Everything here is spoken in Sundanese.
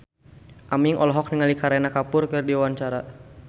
Aming olohok ningali Kareena Kapoor keur diwawancara